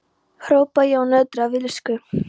hrópaði ég og nötraði af illsku.